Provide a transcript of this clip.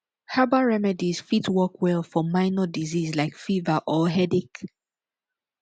herbal remedies fit work well for minor disease like fever or headache